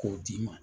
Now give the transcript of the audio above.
K'o d'i ma